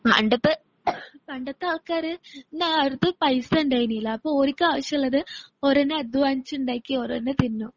പണ്ടത്തെ പണ്ടത്തെ ആൾക്കാര് അന്നാർക്കും പൈസ ഉണ്ടായിനീല്ല. അപ്പോ ഓരുക്ക് ആവശ്യമുള്ളത് ഓര് തന്നെ അധ്വാനിച്ചുണ്ടാക്കി ഓരു തന്നെ തിന്നും.